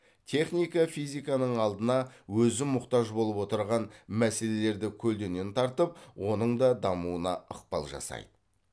техника физиканың алдына өзі мұқтаж болып отырған мәселелерді көлдеңен тартып оның да дамуына ықпал жасайды